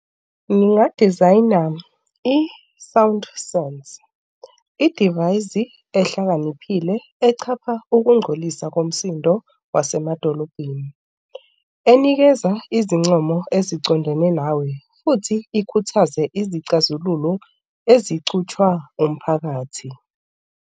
Ngingadizayina i-sound songs, idivayizi ehlakaniphile echapha ukungcolisa komsindo wasemadolobheni enikeza izincomo ezicondene nawe futhi ikhuthaze izixazululo ezicutshwa umphakathi.